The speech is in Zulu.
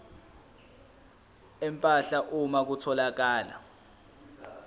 empahla uma kutholakala